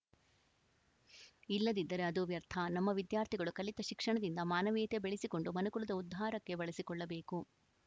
ಇಲ್ಲದಿದ್ದರೆ ಅದು ವ್ಯರ್ಥ ನಮ್ಮ ವಿದ್ಯಾರ್ಥಿಗಳು ಕಲಿತ ಶಿಕ್ಷಣದಿಂದ ಮಾನವೀಯತೆ ಬೆಳೆಸಿಕೊಂಡು ಮನುಕುಲದ ಉದ್ಧಾರಕ್ಕೆ ಬಳಸಿಕೊಳ್ಳಬೇಕು